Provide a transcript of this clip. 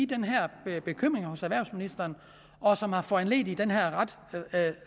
den her bekymring hos erhvervsministeren og som har foranlediget den her ret